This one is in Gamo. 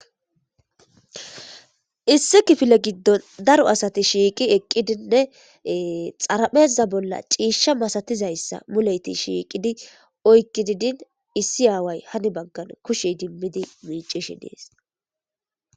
Issi kifile giddon daro asati shiiqi eqqidinne xarapheza bolla ciishsha masatizayssa muleyti shiiqidi oykkidi din issi aaway hani baggan kushey dimmidi miicishi dees.